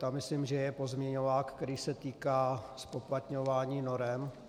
Tam myslím, že je pozměňovák, který se týká zpoplatňování norem.